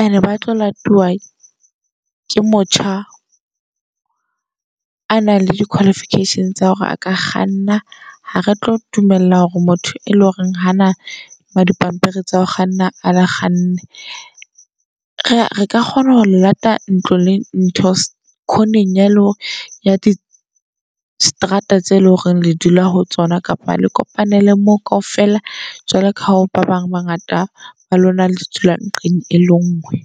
And-e ba tlo latiwa ke motjha. A nang le di-qualification tsa hore a ka kganna ha re tlo dumella hore motho e leng hore hana ma dipampiri tsa ho kganna a kganne. Re ka kgona ho le lata ntlo le ntho corner-eng ya le hore ya distrata tseo eleng hore le dula ho tsona. Kapa le kopanele moo kaofela. Jwalo ka ha ba bang bangata ba lona le di dula nqeng e le ngwe.